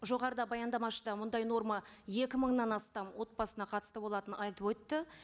жоғарыда баяндамашы да мұндай норма екі мыңнан астам отбасына қатысты болатынын айтып өтті